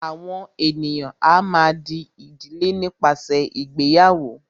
àwọn ènìyàn a má a dí ìdílé nípasẹ ìgbéyàwó.